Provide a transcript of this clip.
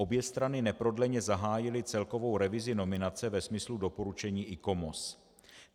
Obě strany neprodleně zahájily celkovou revizi nominace ve smyslu doporučení ICOMOS.